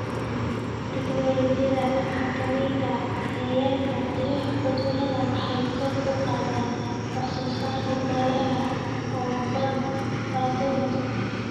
Tignoolajiyada xakamaynta cayayaanka iyo cudurrada waxay kor u qaadaan wax soo saarka dalagga oo badbaado leh.